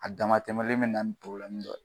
A dama tɛmɛlen be na ni dɔ ye.